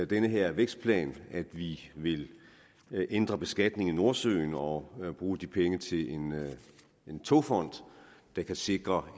den her vækstplan at vi vil ændre beskatningen i nordsøen og bruge de penge til en togfond der kan sikre